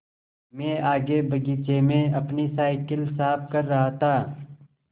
मैं आगे बगीचे में अपनी साईकिल साफ़ कर रहा था